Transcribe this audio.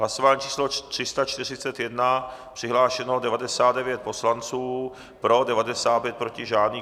Hlasování číslo 341, přihlášeno 99 poslanců, pro 95, proti žádný.